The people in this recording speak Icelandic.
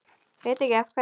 Veit ekki af hverju.